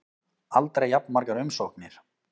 Aldrei jafn margar umsóknir